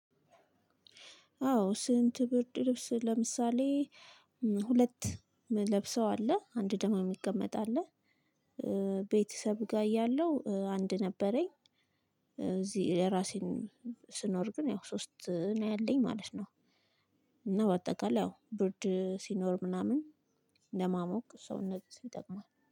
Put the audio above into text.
አዎ ስንት ብርድ ልብስ ለምሳሌ ሁለት ለብሰው አለ አንድ ደግሞ የሚቀመጥ አለ። ቤተሰብ ጋር እያለሁ አንድ ነበረኝ። እዚህ እራሴን ስኖር ግን ያው ሶስት ነው ያለኝ ማለት ነው። እና በአጠቃላይ ያው ብርድ ሲኖር ምናምን ለማሞቅ ሰውነት ይጠቅማል